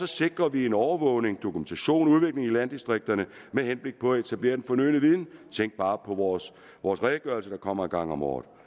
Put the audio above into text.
sikrer vi en overvågning dokumentation udvikling i landdistrikterne med henblik på at etablere den fornødne viden tænk bare på vores vores redegørelse der kommer en gang om året